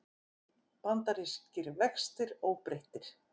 Bandarískir vextir óbreyttir